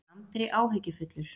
spurði Andri áhyggjufullur.